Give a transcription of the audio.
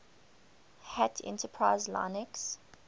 hat enterprise linux